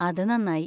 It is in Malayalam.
അത് നന്നായി.